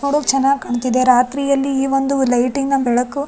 ನೋಡೋಕ್ ಚೆನ್ನಾಗ್ ಕಾಣ್ತಿದೆ ರಾತ್ರಿಯಲ್ಲಿ ಈ ಒಂದು ಲೈಟಿಂಗ್ ನ ಬೆಳಕು --